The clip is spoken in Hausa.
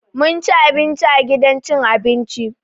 Mun ci abinci a gidan cin abinci.